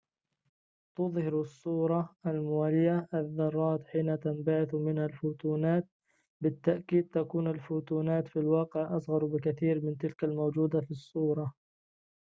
تُظهرالصورة الموالية الذرات حين تنبعث منها الفوتونات بالتأكيد تكون الفوتونات في الواقع أصغر بكثير من تلك الموجودة في الصورة